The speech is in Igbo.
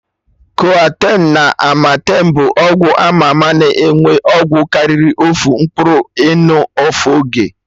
Coartem na amartem bụ ọgwụ ama ama na enwe ọgwụ karịrị ofu mkpụrụ ịnụ ofu oge